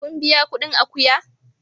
Kun biya kudin akuya?